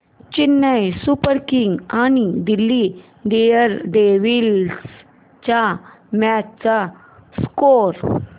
Chennai Super Kings आणि Delhi Daredevils च्या match चा स्कोअर